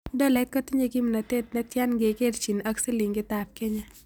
Tolait ko tinye kimnatet ne tyan ngekerchin ak silingiitap kenya